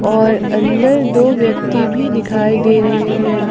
और अंदर दो व्यक्ति भी दिखाई दे रहे हैं।